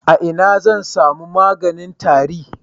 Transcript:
A ina zan sami maganin tari?